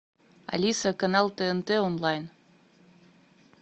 алиса канал тнт онлайн